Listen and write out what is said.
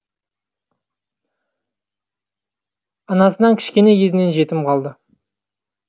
анасынан кішкене кезінен жетім қалды